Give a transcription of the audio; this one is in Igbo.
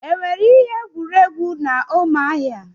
Enwere ihe egwuregwu na Umuahia?